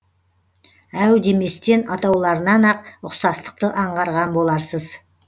әу деместен атауларынан ақ ұқсастықты аңғарған боларсыз